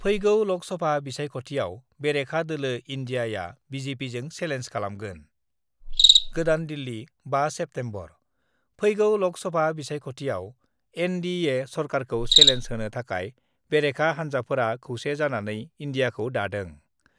फैगौ लक सभा बिसायख'थियाव बेरेखा दोलो इन्डियाआ बिजेपिजों सेलेन्स खालामगोन गोदान दिल्ली, 5 सेप्तेम्बर : फैगौ बिसायख'थियाव एनडिए सरकारखौ सेलेन्ज होनो थाखाय बेरेखा हान्जाफोरा खौसे जानानै इन्डियाखौ दादों।